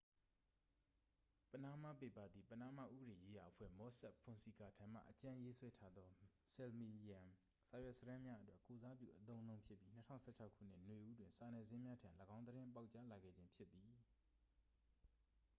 """ပနားမားပေပါ" သည် ပနားမားဥပဒေရေးရာအဖွဲ့ မော့ဆက်ဖွန်ဆီကာထံမှ အကြမ်းရေးဆွဲထားသော ဆယ်မီလီယံစာရွက်စာတမ်းများအတွက် ကိုယ်စားပြုအသုံးအနှုန်းဖြစ်ပြီး ၂၀၁၆ခုနှစ် နွေဦးတွင် စာနယ်ဇင်းများထံ ၎င်းသတင်းပေါက်ကြားလာခဲ့ခြင်းဖြစ်သည်။